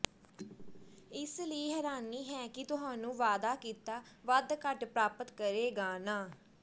ਇਸ ਲਈ ਹੈਰਾਨੀ ਹੈ ਕਿ ਤੁਹਾਨੂੰ ਵਾਅਦਾ ਕੀਤਾ ਵੱਧ ਘੱਟ ਪ੍ਰਾਪਤ ਕਰੇਗਾ ਨਾ